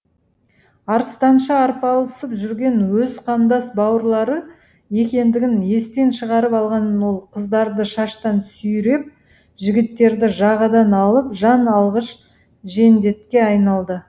арыстанша арпалысып жүрген өз қандас бауырлары екендігін естен шығарып алған ол қыздарды шаштан сүйреп жігіттерді жағадан алып жан алғыш жендетке айналды